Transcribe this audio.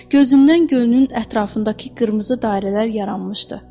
Gözündən könlünün ətrafındakı qırmızı dairələr yaranmışdı.